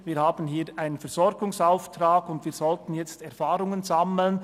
Wir haben hier einen Versorgungsauftrag, und wir sollten jetzt Erfahrungen sammeln.